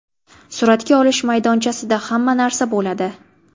Suratga olish maydonchasida hamma narsa bo‘ladi.